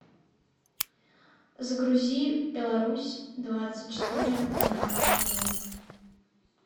загрузи беларусь двадцать четыре на тв